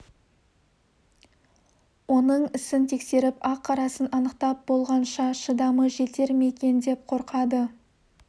оның ісін тексеріп ақ-қарасын анықтап болғанша шыдамы жетер ме екен деп те қорқады